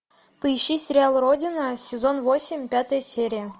поищи сериал родина сезон восемь пятая серия